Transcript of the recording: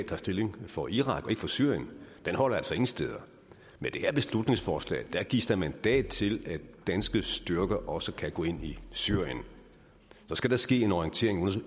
tager stilling for irak og ikke for syrien holder altså ingen steder med det her beslutningsforslag gives der mandat til at danske styrker også kan gå ind i syrien så skal der ske en orientering i